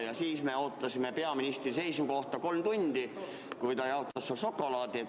Ja siis me ootasime peaministri seisukohta kolm tundi, kui ta jaotas seal šokolaadi.